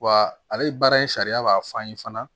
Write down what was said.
Wa ale baara in sariya b'a fɔ an ye fana